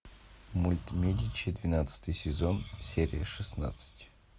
мульт медичи двенадцатый сезон серия шестнадцать